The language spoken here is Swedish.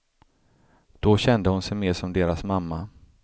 Då kände hon sig mer som deras mamma.